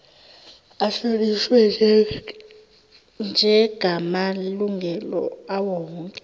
ahlonishwe njegamalungelo awowonke